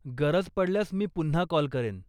गरज पडल्यास मी पुन्हा कॉल करेन.